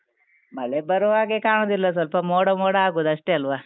ಮಳೆ ಬರುವಾಗೆ ಕಾಣುದಿಲ್ಲ, ಸ್ವಲ್ಪ ಮೋಡ ಮೋಡ ಆಗುದು ಅಷ್ಟೇ ಅಲ್ವಾ.